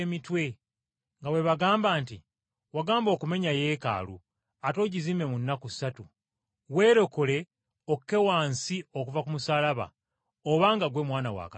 nga bwe bagamba nti, “Wagamba okumenya Yeekaalu, ate ogizimbe mu nnaku ssatu! Weerokole okke wansi okuva ku musaalaba, obanga ggwe Mwana wa Katonda.”